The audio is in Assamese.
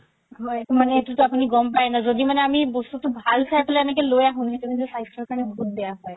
সেইটো আপুনি গ'ম পাই ন যদি মানে আমি বস্তুতো ভাল চাই পেলাই এনেকে লই আহো সেইটো স্বাস্থ্যৰ কাৰণে বহুত বেয়া হয়